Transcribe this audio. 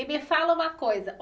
E me fala uma coisa.